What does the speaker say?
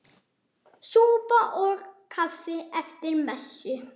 Súpa og kaffi eftir messu.